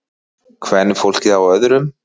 Kvenfólkið á öðrum.